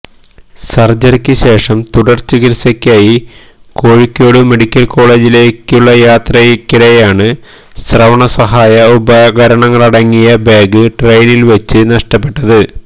സര്ജറിക്ക് ശേഷം തുടര്ചികിത്സയ്ക്കായി കോഴിക്കോട് മെഡിക്കല് കോളേജിലേക്കുള്ള യാത്രയ്ക്കിടെയാണ് ശ്രവണ സഹായ ഉപകരണങ്ങളടങ്ങിയ ബാഗ് ട്രെയിനില് വച്ച് നഷ്ടപ്പെട്ടത്